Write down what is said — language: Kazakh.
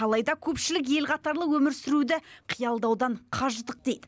алайда көпшілік ел қатарлы өмір сүруді қиялдаудан қажыдық дейді